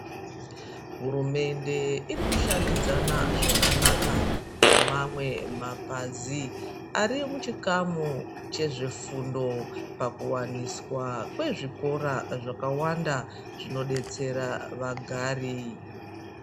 Hurumende iri kushandidza zvakanaka nemamwe mapazi arimuchikamu chezvefundo pakuwaniswa kwezvikora zvakawanda zvinodetsera vagari.